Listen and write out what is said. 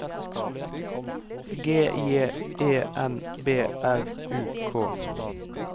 G J E N B R U K